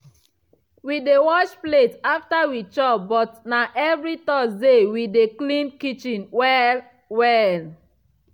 we dey wash plate after we chop but na evri thursday we dey clean kitchen well-well.